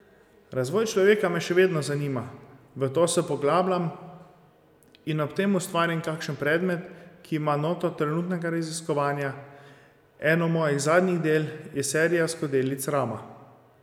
Razvoj človeka me še vedno zanima, v to se poglabljam in ob tem ustvarim kakšen predmet, ki ima noto trenutnega raziskovanja, eno mojih zadnjih del je serija skodelic Rama.